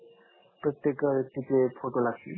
प्रत्येक व्यक्तीचे फोटो लागतील